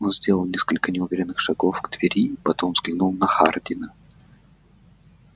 он сделал несколько неуверенных шагов к двери потом взглянул на хардина